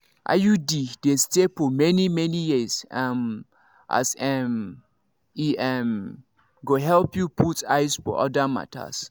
iud dey stay for many-many years um as um e um go help you put eyes for other matters.